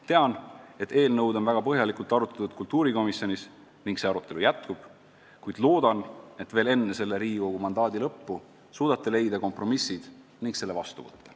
Tean, et eelnõu on väga põhjalikult arutatud kultuurikomisjonis ja see arutelu jätkub, kuid loodan, et veel enne selle Riigikogu mandaadi lõppu suudate leida kompromissid ning selle vastu võtta.